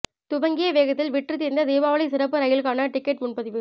துவங்கிய வேகத்தில் விற்றுத் தீர்ந்த தீபாவளி சிறப்பு ரயில்களுக்கான டிக்கெட் முன்பதிவு